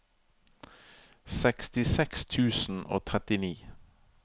sekstiseks tusen og trettini